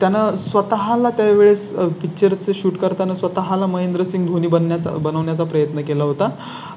त्यांना स्वतः ला त्या वेळेस Picture चं shoot करताना स्वतः ला महेंद्रसिंग धोनी बनण्या चा बनवण्या चा प्रयत्न केला होता.